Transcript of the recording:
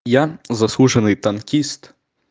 я заслуженный танкист